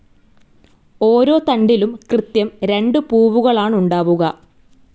ഓരോ തണ്ടിലും കൃത്യം രണ്ട് പൂവുകളാണുണ്ടാവുക.